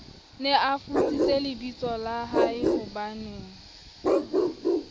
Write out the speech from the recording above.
ne a futsitse lebitsola haehobanee